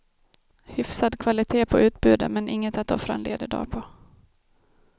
Hyfsad kvalité på utbudet, men inget att offra en ledig dag på.